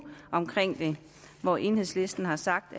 hvor enhedslisten har sagt